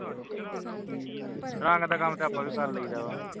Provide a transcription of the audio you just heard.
ਰੰਗ ਦਾ ਕੰਮ ਤੇ ਆਪਾਂ ਵੀ ਕਰ ਲਈ ਦਾ ਵਾ